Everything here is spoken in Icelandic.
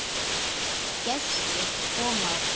Gestir koma og fara.